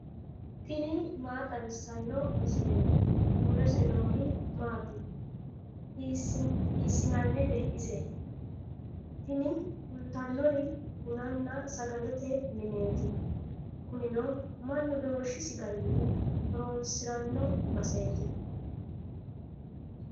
tini maa xawissanno misileeti ? mulese noori maati ? hiissinannite ise ? tini kultannori bununna sagalete mineeti. kunino mannu doorshisi garinni horoonsiranno baseeti.